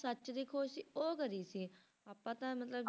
ਸੱਚ ਦੀ ਖੋਜ ਸੀ ਉਹ ਕਰੀ ਸੀ ਆਪਾਂ ਤਾਂ ਮਤਲਬ